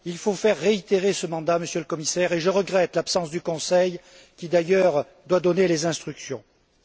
Il faut reconduire ce mandat, Monsieur le Commissaire, et je regrette l'absence du Conseil qui, d'ailleurs, doit donner les instructions nécessaires.